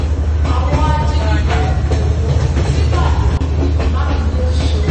àwọn ajínigbé ọ̀nà ẹ̀kọ́ síbàdàn mákindè ṣeun